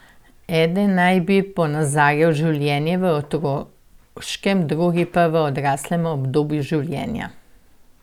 Eden naj bi ponazarjal življenje v otroškem, drugi pa v odraslem obdobju življenja.